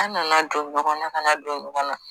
An nana don ɲɔgɔn na kana don ɲɔgɔn na